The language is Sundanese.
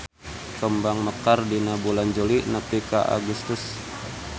Kembang mekar dina bulan Juli nepi ka Agustus.